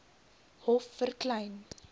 hof vir klein